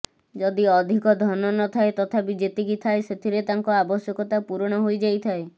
ଯଦି ଅଧିକ ଧନ ନଥାଏ ତଥାପି ଯେତିକି ଥାଏ ସେଥିରେ ତାଙ୍କ ଆବଶ୍ୟକତା ପୂରଣ ହୋଇଯାଇଥାଏ